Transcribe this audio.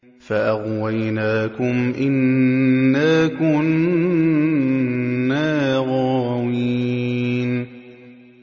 فَأَغْوَيْنَاكُمْ إِنَّا كُنَّا غَاوِينَ